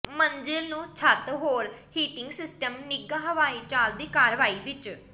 ਮੰਜ਼ਿਲ ਨੂੰ ਛੱਤ ਹੋਰ ਹੀਟਿੰਗ ਸਿਸਟਮ ਨਿੱਘਾ ਹਵਾਈ ਚਾਲ ਦੀ ਕਾਰਵਾਈ ਵਿਚ